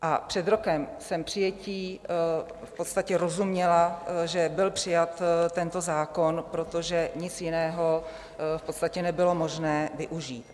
A před rokem jsem přijetí... v podstatě rozuměla, že byl přijat tento zákon, protože nic jiného v podstatě nebylo možné využít.